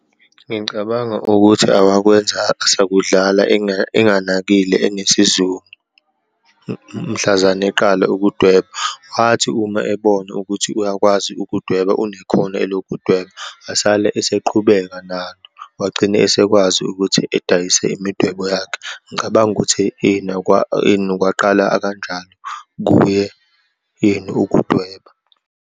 Ngicabanga ukuthi awakwenza sakudlala enganakile, unesizungu, mhlazane eqala ukudweba. Wathi uma ebona ukuthi uyakwazi ukudweba, unekhono elokudweba, asale eseqhubeka nalo, wagcine esekwazi ukuthi edayise imidwebo yakhe. Ngicabanga ukuthi ini kwaqala akanjalo kuye, ini ukudweba.